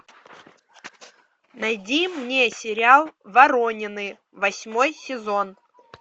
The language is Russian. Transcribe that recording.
найди мне сериал воронины восьмой сезон